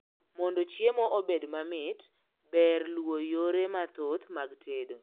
mondo chiemo obed mamit, ber luo yore mathoth mag tedo